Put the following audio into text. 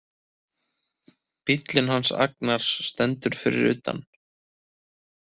Bíllinn hans Agnars stendur fyrir utan.